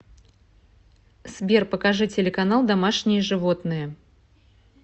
сбер покажи телеканал домашние животные